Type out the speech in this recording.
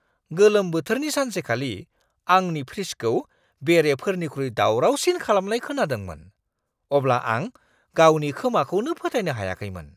गोलोम बोथोरनि सानसेखालि आंनि फ्रिजखौ बेरेफोरनिख्रुइ दावरावसिन खालामनाय खोनादोंमोन, अब्ला आं गावनि खोमाखौनो फोथायनो हायाखैमोन!